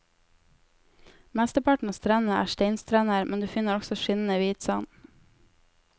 Mesteparten av strendene er steinstrender, men du finner også skinnende hvit sand.